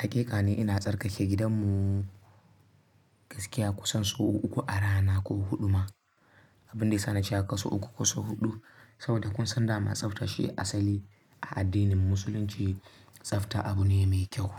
Haƙiƙa ni ina tsarkake gidan mu gaskiya kusan sau uku a rana ko huɗu ma. Abinda yasa nace ah sau uku ko sau huɗu saboda kun san dama tsafta shi asali a addinin musulunci tsafta abu ne mai kyau